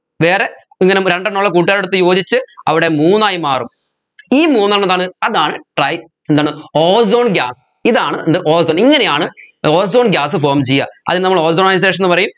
വേറെ ഇങ്ങനം രണ്ടെണ്ണമുള്ള കൂട്ടുകാരോടൊത്തു യോജിച്ച് അവിടെ മൂന്നായി മാറും ഈ മൂന്നെണ്ണന്താണ് അതാണ് tri എന്താണ് ozone gas ഇതാണ് എന്ത് ozone ഇങ്ങനെയാണ് ozone gas form ചെയ്യാ അതിന് നമ്മൾ ozonisation എന്ന് പറയും